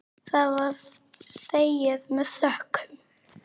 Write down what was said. Það var þegið með þökkum.